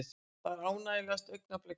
Þetta er ánægjulegasta augnablik dagsins.